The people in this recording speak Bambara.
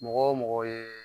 Mɔgɔ o mɔgɔ ye